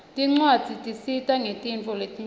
tincwadzi tisita ngetintfo letinyenti